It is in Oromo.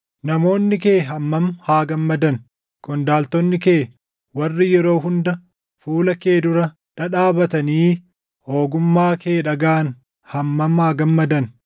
Namoonni kee hammam haa gammadan! Qondaaltonni kee warri yeroo hunda fuula kee dura dhadhaabatanii ogummaa kee dhagaʼan hammam haa gammadan!